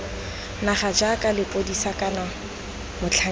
naga jaaka lepodisa kana motlhankedi